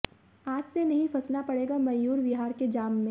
आज से नहीं फंसना पड़ेगा मयूर विहार के जाम में